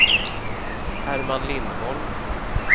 Herman Lindholm